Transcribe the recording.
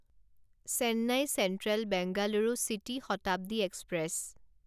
Chennai central Bengaluru city Shatabdi express